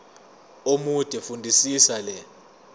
omude fundisisa le